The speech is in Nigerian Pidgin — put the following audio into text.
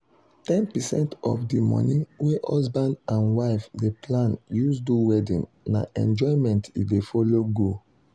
10 percent of the money wey husban and wife dey plan use do wedding na enjoyment e dey follow go.